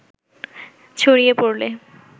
ছড়িয়ে পড়লে